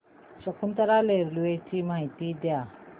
Shakuntala railway ची माहिती द्या